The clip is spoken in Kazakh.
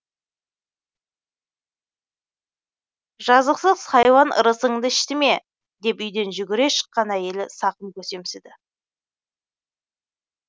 жазықсыз хайуан ырысыңды ішті ме деп үйден жүгіре шыққан әйелі сақым көсемсіді